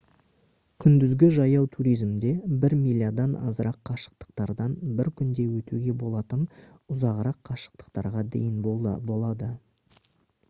күндізгі жаяу туризмде бір милядан азырақ қашықтықтардан бір күнде өтуге болатын ұзағырақ қашықтықтарға дейін болады